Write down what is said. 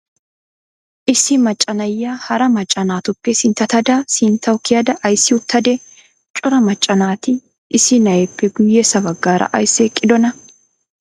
Issi maccaa naa7iya haraa maccaa naatuppe sinttatada sinttawu kiyada aysi uttadee? Cora maccaa naati issi naa7eppe guyeessa baggara aysi eqqidonaa?